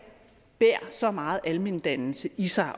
bærer så meget almendannelse i sig